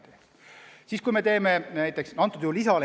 Mida me ikkagi teeme näiteks toodud juhul?